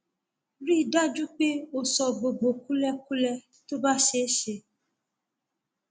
rí i dájú pé o sọ gbogbo kúlẹkúlẹ tó bá ṣeé ṣe